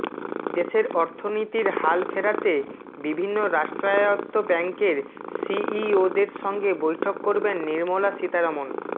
দেশের অর্থনীতির হাল ফেরাতে বিভিন্ন রাষ্ট্রায়ত্ত ব্যাঙ্কের সিইওদের সঙ্গে বৈঠক করবেন নির্মলা সীতারমণ